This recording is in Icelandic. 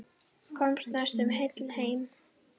Komst næstum heil heim.